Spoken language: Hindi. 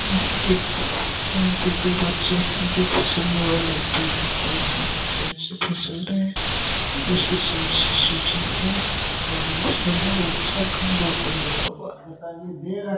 ये एक- यहां पे दो बच्चे है जो फिसलने वाले फिसल रहे है उसके साइड से सीढ़ी है और फिसलने वाला चार खम्बो पे लगा हुआ है।